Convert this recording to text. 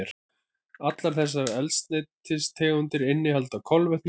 Allar þessar eldsneytistegundir innihalda kolefni og vetni.